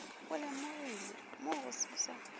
go lemogilwe mogo se sa